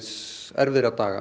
erfiðra daga